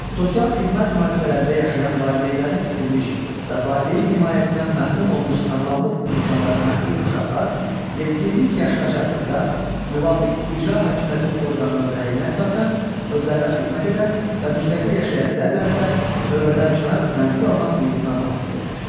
Sosial xidmət müəssisələrində yaşayan valideynlərini itirmiş və valideyn himayəsindən məhrum olmuş sağlamlıq imkanları məhdud uşaqlar yetkinlik yaşına çatdıqda müvafiq icra hakimiyyəti orqanının rəyinə əsasən özlərinə xidmət edə və müstəqil yaşaya bilərlərsə, növbədənkənar mənzil almaq hüququna malikdirlər.